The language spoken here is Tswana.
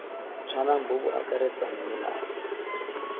tshwanang bo bo akaretsang melao